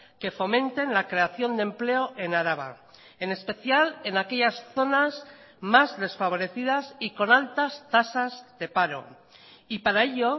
que fomenten la creación de empleo en araba en especial en aquellas zonas más desfavorecidas y con altas tasas de paro y para ello